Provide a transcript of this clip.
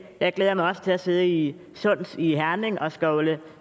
jeg glæder mig også til at sidde i sunds i herning og skovle